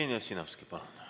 Jevgeni Ossinovski, palun!